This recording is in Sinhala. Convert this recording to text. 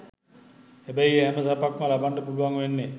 හැබැයි ඒ හැම සැපක්ම ලබන්නට පුළුවන් වෙන්නේ